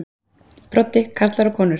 Broddi: Karlar og konur?